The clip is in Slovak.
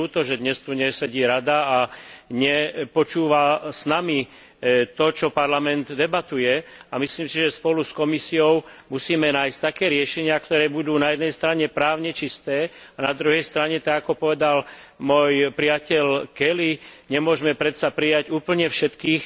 Je mi ľúto, že dnes tu nesedí Rada a nepočúva s nami to, o čom Parlament debatuje, a myslím si, že spolu s Komisiou musíme nájsť také riešenia, ktoré budú na jednej strane právne čisté a na druhej strane, tak ako povedal môj priateľ Kelly, nemôžeme predsa prijať úplne všetkých